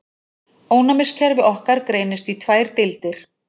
Ónæmiskerfi okkar greinist í tvær deildir.